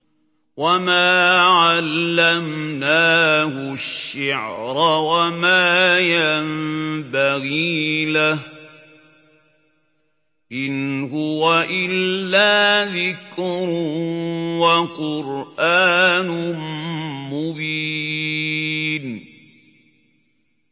وَمَا عَلَّمْنَاهُ الشِّعْرَ وَمَا يَنبَغِي لَهُ ۚ إِنْ هُوَ إِلَّا ذِكْرٌ وَقُرْآنٌ مُّبِينٌ